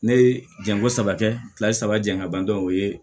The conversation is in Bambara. Ne ye janko saba kɛ fila ye saba jan ka ban dɔrɔn o ye